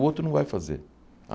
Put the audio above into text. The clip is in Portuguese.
O outro não vai fazer.